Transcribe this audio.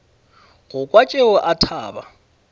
go kwa tšeo a thaba